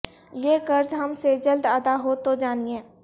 یہ قرض ہم سے جلد ادا ہو تو جانیے